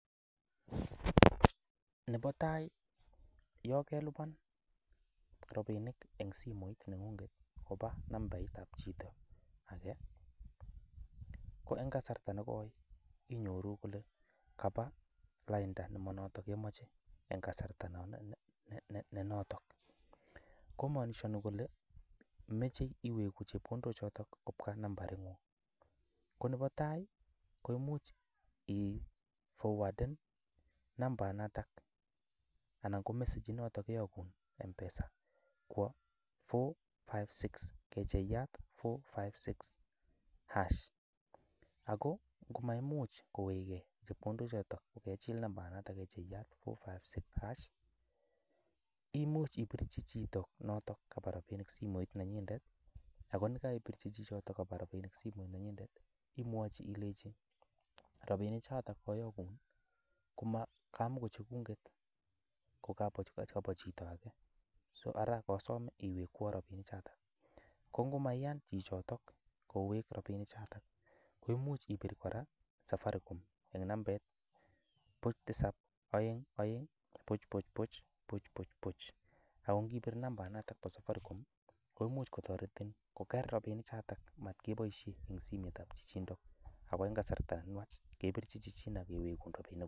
Nebo tai yon kelipan rabinik en simoit neng'ung koba nambaitab chito age ko en kasarta nekoi inyoru kole kaba lainda nemonoto nekemoche en kasarta nenoto. Ko maanishani kole mache iwegu chepkondok choto kobwa nambaing'ung. Ko nebo tai koimuch iforwaden nambainata anan ko message inoto koiyogun M-Pesa kwo four, five, six. Kecheyat four-fice-six, hash sign. Ago ngomaimuch kowege chepkondok choto kogechil nambainato: kecheyat, four-five-six-hash sign imuch ibirchi chito noton kaba rabinik simoit nenyinet ago ye kaibirchi chichoto kaba rabinik simoit nenyinet imwochi ilenji: "rabinik choto koyogun ko kamago cheguket, kobo chito age" So ara kosome iwekwon rabinik choto. Ko ngomaiyan chichoto kowek rabinik choto, koimuch ibir kora Safaricom en nambaiit: buch, tisab, oeng, oeng, buch, buch, buch, buch, buch, buch. Ago ngibit nambainato bo Safaricom koimuch kotoretin koger rabinik choto matkeboishen en simoitab chichindo ago en kasarta nenwach kebirchin chichino kowegun rabinikuk.